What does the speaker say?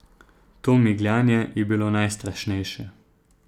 To migljanje je bilo najstrašnejše.